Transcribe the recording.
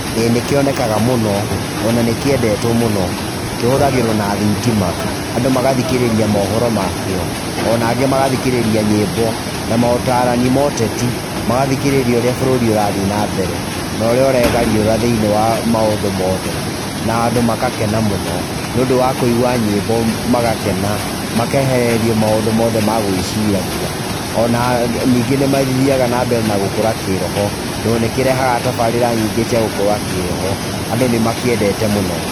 ĩĩ nĩ kĩonekaga mũno, o na nĩ kĩendetwo mũno, kĩhũthagĩrwo na thitima, andũ magathikĩrĩria mohoro makĩo, o na angĩ magathikĩrĩria nyĩmbo, na mũtarani ma ũteti, magathikĩrĩria ũrĩa bũrũri ũrathiĩ na mbere, na ũrĩa ũregariũra thĩ-inĩ wa maũndũ mothe, na andũ magakena mũno, nĩũndũ wa kũigua nyĩmbo magakena, makehererio maũndũ mothe ma gwĩciragia, o na ningĩ nĩ mathiaga na mbere na gũkũra kĩroho, tondũ nĩkĩrehaga tabarĩra nyingĩ cia gũkũra kĩroho, andũ nĩ makĩendete mũno.